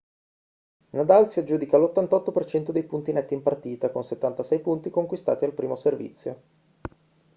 nadal si aggiudica l'88% dei punti netti in partita con 76 punti conquistati al primo servizio